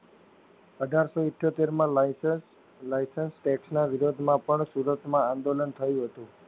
અઢારસો ઈઠ્યોતેરમાં licence licence tax ના વિરોધમાં પણ સુરતમાં આંદોલન થયું હતું